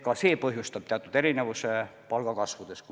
Ka see põhjustab teatud erinevuse palgakasvudes.